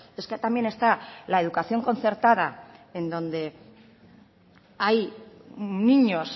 es que también está la educación concertada en donde hay niños